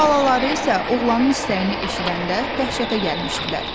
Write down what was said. Xalaları isə oğlanın istəyini eşidəndə dəhşətə gəlmişdilər.